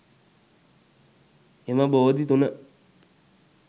එම බෝධි තුන